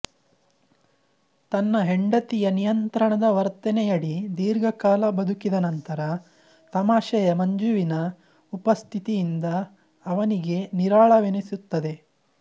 ತನ್ನ ಹೆಂಡತಿಯ ನಿಯಂತ್ರಣದ ವರ್ತನೆಯಡಿ ದೀರ್ಘಕಾಲ ಬದುಕಿದ ನಂತರ ತಮಾಷೆಯ ಮಂಜುವಿನ ಉಪಸ್ಥಿತಿಯಿಂದ ಅವನಿಗೆ ನಿರಾಳವೆನಿಸುತ್ತದೆ